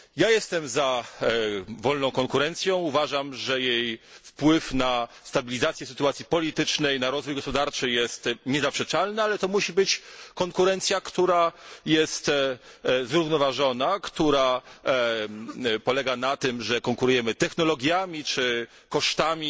Jestem za wolną konkurencją, uważam, że jej wpływ na stabilizację sytuacji politycznej, na rozwój gospodarczy, jest niezaprzeczalny, ale to musi być konkurencja, która jest zrównoważona, która polega na tym, że konkurujemy technologiami czy kosztami